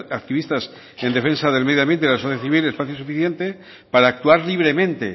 activistas en defensa del medio ambiente y la sociedad civil espacio suficiente para actuar libremente